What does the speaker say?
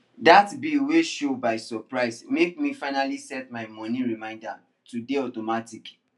that bill wey show by surprise make me finally set my money reminder to dey automatic